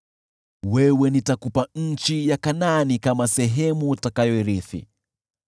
“Nitakupa wewe nchi ya Kanaani kuwa sehemu utakayoirithi.”